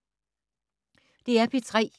DR P3